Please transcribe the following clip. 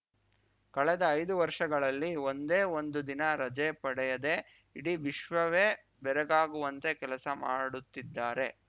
ಕಳೆದ ಐದು ವರ್ಷಗಳಲ್ಲಿ ಒಂದೇ ಒಂದು ದಿನ ರಜೆ ಪಡೆಯದೆ ಇಡೀ ವಿಶ್ವವವೇ ಬೆರಗಾಗುವಂತೆ ಕೆಲಸ ಮಾಡುತ್ತಿದ್ದಾರೆ